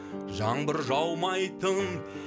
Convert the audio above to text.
жаңбыр жаумайтын